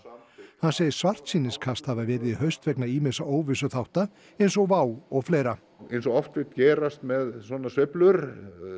hann segir svartsýniskast hafi verið í haust vegna ýmissa óvissuþátta eins og WOW og fleira eins og oft vill gerast með svona sveiflur